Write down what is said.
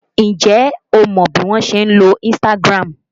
Ǹjẹ́ o mọ bí wọn ṣe ń lo Instagram?